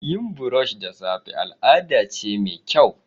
Yin brush da safe al'ada ce mai kyau.